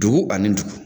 Dugu ani dugu